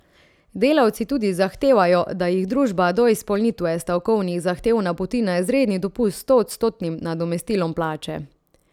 Delavci tudi zahtevajo, da jih družba do izpolnitve stavkovnih zahtev napoti na izredni dopust s stoodstotnim nadomestilom plače.